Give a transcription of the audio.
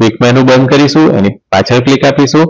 click menu બંધ કરીશુ એની પાછળ click આપીશુ